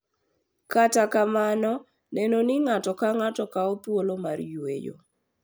Kata kamano, neno ni ng’ato ka ng’ato kawo thuolo mar yueyo, .